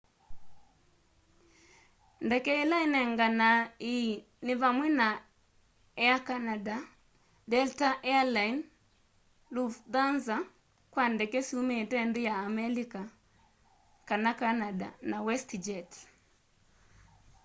ndeke ila inenganae ii ni vamwe na air canada delta air lines lufthansa kwa ndeke syumite nthi ya amelika kana canada na westjet